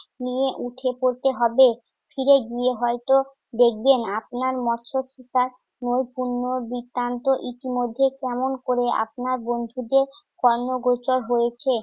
নিয়ে আপনাকে উঠে পড়তে হবে। ফিরে গিয়ে হয়ত দেখবেন আপনার মৎস্য পিতার নৈপুণ্য বৃত্তান্ত ইতিমধ্যে কেমন করে আপনার বন্ধুদের কর্ণগোচর হয়েছে।